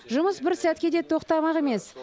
жұмыс бір сәтке де тоқтамақ емес